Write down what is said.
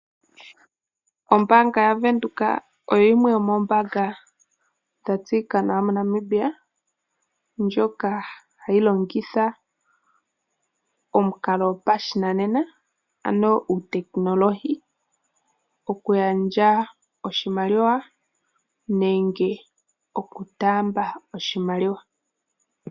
Ombaanga yaVenduka oyo yimwe yomoombanga dha tseyika nawa moNamibia, ndjoka hayi longitha omukalo gopashinanena, ano uutekinologi okugandja nenge okutaamba oshimaliwa.